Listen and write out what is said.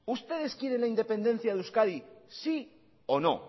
ustedes quieren la independencia de euskadi sí o no